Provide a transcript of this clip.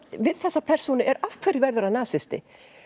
við þessa persónu er af hverju verður hann nasisti